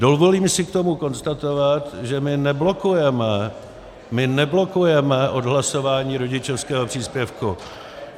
Dovolím si k tomu konstatovat, že my neblokujeme, my neblokujeme odhlasování rodičovského příspěvku.